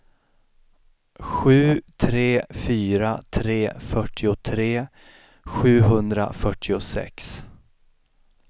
sju tre fyra tre fyrtiotre sjuhundrafyrtiosex